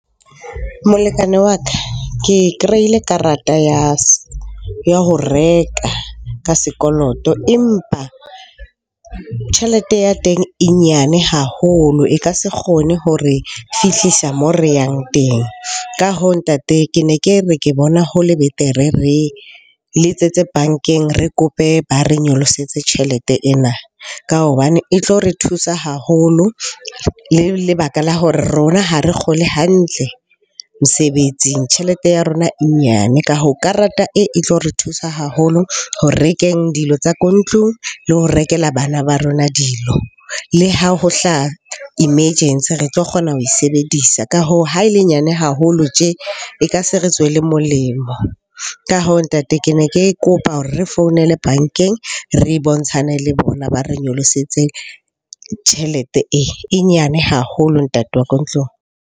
Molekane wa ka, ke kreile karata ya ho reka ka sekoloto. Empa tjhelete ya teng e nyane haholo, e ka se kgone hore fihlisa mo re yang teng. Ka hoo, ntate ke ne ke re ke bona ho le betere re le etsetse bankeng. Re kope ba re nyolosetse tjhelete ena ka hobane e tlo re thusa haholo. Le lebaka la hore rona ha re kgole hantle mesebetsing, tjhelete ya rona e nyane. Ka hoo, karata e tlo re thusa haholo ho rekeng dilo tsa ko ntlung, le ho rekela bana ba rona dilo, le ha ho hlaha emergency re tlo kgona ho e sebedisa. Ka hoo, ha e le nyane haholo tje, e ka se re tswele molemo. Ka hoo ntate, ke ne ke kopa hore re founele bankeng, re bontshane le bona ba re nyolosetse tjhelete e. E nyane haholo ntate wa ko ntlong.